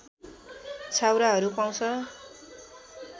छाउराहरू पाउँछ